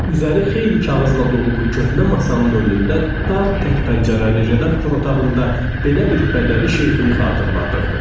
Üzəri xeyli kağızla dolu bu köhnə masanın önündə dar tək pəncərəli redaktor otağında belə bir bədəvi şeyxini xatırladırdı.